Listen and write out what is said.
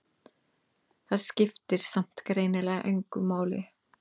Það skipti samt greinilega engu máli.